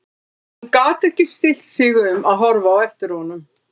En hún gat ekki stillt sig um að horfa á eftir honum.